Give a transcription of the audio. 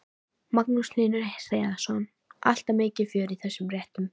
Magnús Hlynur Hreiðarsson: Alltaf mikið fjör í þessum réttum?